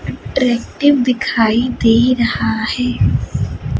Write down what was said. Attractive दिखाई दे रहा है।